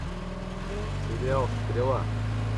сериал стрела